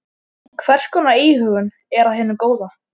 Hvers konar íhugun er af hinu góða.